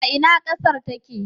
A ina ƙasar take?